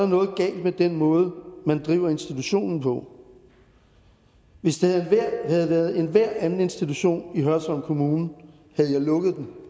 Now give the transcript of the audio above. noget galt med den måde man driver institutionen på hvis det havde været enhver anden institution i hørsholm kommune havde jeg lukket den